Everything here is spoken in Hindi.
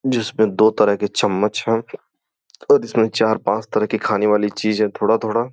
जिसमें दो तरह के चम्मच हैं और इसमें चार पांच तरह की खाने वाली चीज है थोड़ा-थोड़ा।